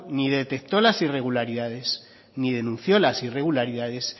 ni detectó las irregularidades ni denunció las irregularidades